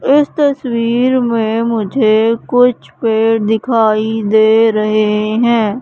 इस तस्वीर में मुझे कुछ पेड़ दिखाई दे रहे हैं।